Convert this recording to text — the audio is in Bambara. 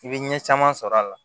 I bɛ ɲɛ caman sɔrɔ a la